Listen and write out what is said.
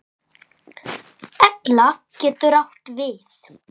Egla getur átt við